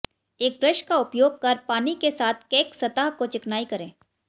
एक ब्रश का उपयोग कर पानी के साथ केक सतह को चिकनाई करें